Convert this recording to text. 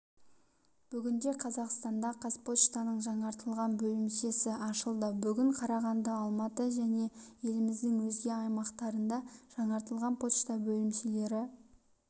бүгінде қазақстанда қазпоштаның жаңғртылған бөлімшесі ашылды бүгін қарағанды алматы және еліміздің өзге аймақтарында жаңартылған пошта бөлімшелері